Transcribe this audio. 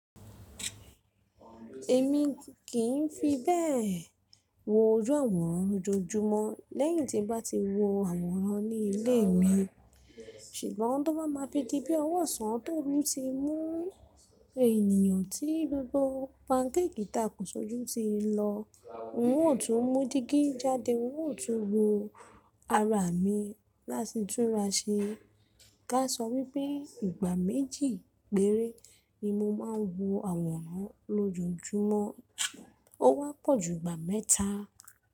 Èmi kì í fi bẹ́ẹ̀ wo ojú àwòrán lójojúmọ́ lẹ́yìn tí n bá ti wo àwòrán ní ilé mi, ṣùgbọ́n tó bá máa fi di pé ọwọ́ sàn tó rú ti mú ènìyàn tí gbogbo pancake tàa kùn sọ́jú ti lọ, ń ò tún mú dígí jáde, ń ò tún wo ara mi láti túra ṣe. Ká sọ wípẹ́ ìgbà méjì péré ni mo máa ń wo àwòrán lójojúmọ́, ó wọ́pọ̀ jù ìgbà mẹ́ta.